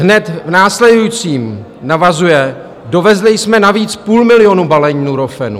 Hned v následujícím navazuje: "Dovezli jsme navíc půl milionu balení Nurofenu."